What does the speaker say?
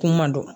Kuma man dɔn